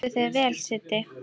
Þú stendur þig vel, Siddi!